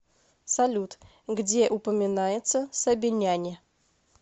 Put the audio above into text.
салют где упоминается сабиняне